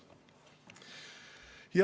Kolm minutit.